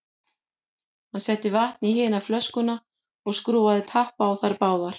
Hann setti vatn í hina flöskuna og skrúfaði tappa á þær báðar.